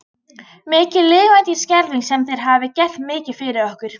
Mikið lifandis skelfing sem þér hafið gert mikið fyrir okkur.